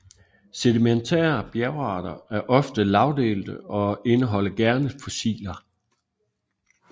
Sedimentære bjergarter er meget ofte lagdelte og indeholder gerne fossiler